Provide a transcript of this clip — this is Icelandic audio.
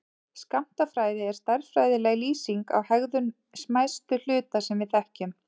Skammtafræði er stærðfræðileg lýsing á hegðun smæstu hluta sem við þekkjum.